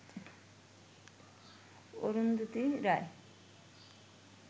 Arundhati Roy